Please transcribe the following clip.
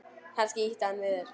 Kannski ýtti hann við þér?